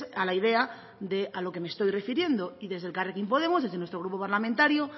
a la idea de a lo que me estoy refiriendo y desde elkarrekin podemos desde nuestro grupo parlamentario